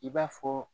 I b'a fɔ